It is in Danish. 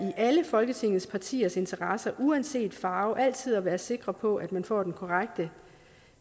alle folketingets partiers interesse uanset farve altid at være sikre på at man får den korrekte